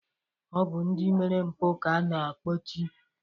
Ọ bụ ndị mere mpụ ka a na-akpọchi